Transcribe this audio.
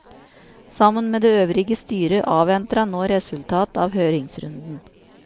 Sammen med det øvrige styret, avventer han nå resultatet av høringsrunden.